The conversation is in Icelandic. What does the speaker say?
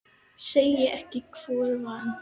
Segi ekki hvor vann.